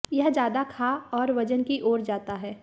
यह ज्यादा खा और वजन की ओर जाता है